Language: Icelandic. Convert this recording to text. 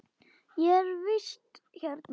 Ég er í vist hérna.